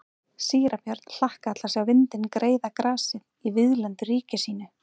Síra Björn hlakkaði til að sjá vindinn greiða grasið í víðlendu ríki sínu.